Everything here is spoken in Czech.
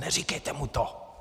Neříkejte mu to."